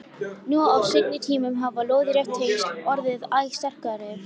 Nú á seinni tímum hafa lóðrétt tengsl orðið æ sterkari.